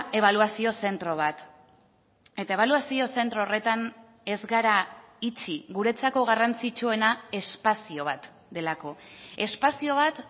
ebaluazio zentro bat eta ebaluazio zentro horretan ez gara itxi guretzako garrantzitsuena espazio bat delako espazio bat